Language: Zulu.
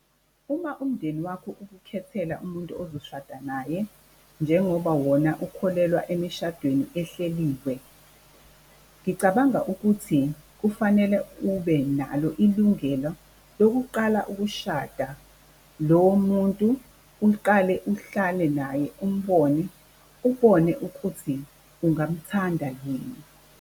Uma umndeni wakho ukukhethela umuntu ozoshada naye njengoba wona ukholelwa emishadweni ehleliwe, ngicabanga ukuthi kufanele ube nalo ilungelo lokuqala ukushada lowo muntu, uliqale uhlale naye umbone, ubone ukuthi ungamthanda yini.